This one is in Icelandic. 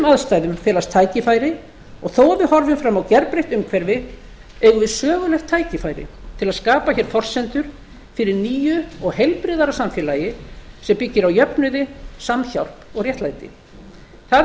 aðstæðum felast tækifæri og þó að við horfum fram á gerbreytt umhverfi eigum við sögulegt tækifæri til að skapa hér forsendur fyrir nýju og heilbrigðara samfélagi sem byggir á jöfnuði samhjálp og réttlæti það er